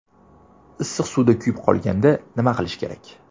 Issiq suvda kuyib qolganda nima qilish kerak?.